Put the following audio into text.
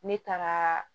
Ne taara